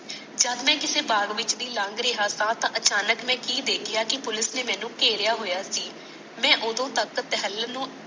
ਜਦ ਮੈ ਕਿਸੇ ਬਾਗ ਵਿਚ ਦੀ ਲੱਗ ਰਿਹਾ ਤਾ ਮੈ ਅਚਾਨਕ ਕਿ ਦੇਖੀਆਂ ਕੇ ਪੁਲਿਕ ਨੇ ਮੈਨੂੰ ਕਾਰੀਆਂ ਹੋਇਆ ਸੀ ਮੈ ਓਦੋ ਤੱਕ ਤਾਹਲਾਂ ਨੂੰ